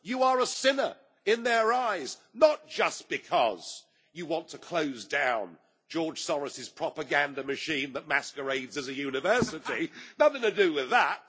You are a sinner in their eyes, not just because you want to close down George Soros' propaganda machine that masquerades as a university nothing to do with that.